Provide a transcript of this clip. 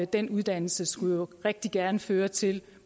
den uddannelse skulle jo rigtig gerne også føre til